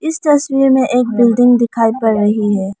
इस तस्वीर में एक बिल्डिंग दिखाई पड़ रही है।